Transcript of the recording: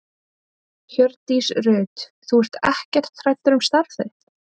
Hjördís Rut: Þú ert ekkert hræddur um starfið þitt?